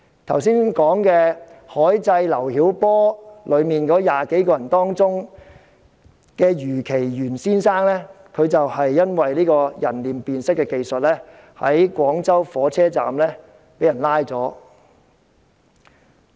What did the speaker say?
在剛才所說"海祭劉曉波"的20多人中，余其元先生便正因為人臉辨識技術在廣州火車站被捕。